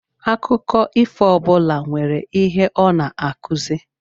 Akụkọ ifo ọbula nwèrè ihe ọ n'akụzi.